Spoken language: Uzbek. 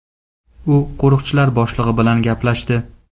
U qo‘riqchilar boshlig‘i bilan gaplashdi.